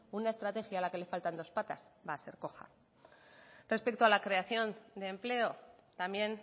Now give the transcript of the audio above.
una estrategia a la que le faltan dos patas va a ser coja respecto a la creación de empleo también